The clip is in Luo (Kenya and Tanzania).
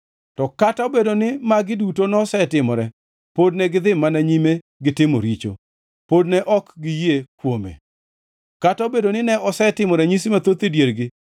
To kata obedo ni magi duto nosetimore, pod negidhi mana nyime gitimo richo; pod ne ok giyie kuome, kata obedo ni ne osetimo ranyisi mathoth e diergi.